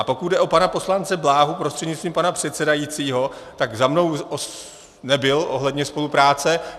A pokud jde o pana poslance Bláhu prostřednictvím pana předsedajícího, tak za mnou nebyl ohledně spolupráce.